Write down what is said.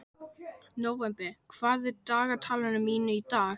Nóvember, hvað er á dagatalinu mínu í dag?